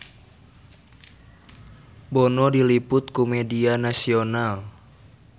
Bono diliput ku media nasional